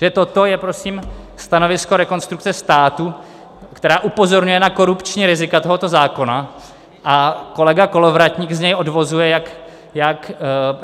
Takže toto je, prosím, stanovisko Rekonstrukce státu, která upozorňuje na korupční rizika tohoto zákona, a kolega Kolovratník z něj odvozuje, jak